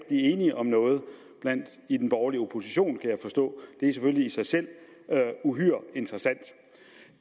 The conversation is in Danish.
blive enige om noget i den borgerlige opposition det er selvfølgelig i sig selv uhyre interessant